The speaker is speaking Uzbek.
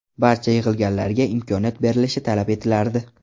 Barcha yig‘ilganlarga imkoniyat berilishi talab etilardi.